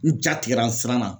N ja tigɛra n siranna